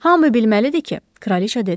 Hamı bilməlidir ki, kraliça dedi.